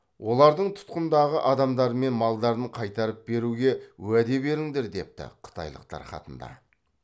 олардың тұтқындағы адамдары мен малдарын қайтарып беруге уәде беріңдер депті қытайлықтар хатында